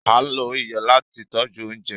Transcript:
Á ló iyọ lati tọ̀ju ọ̀unjẹ